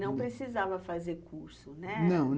Não precisava fazer curso, né? não.